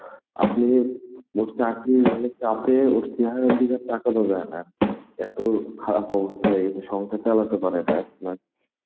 আপনি মোট চাকরি মানে চাপে অস্তিহারের দিকে তাকানো যায় না এত খারাপ অবস্থা হয়ে গেছে, সংসার চালাতে পারে না এখন আর.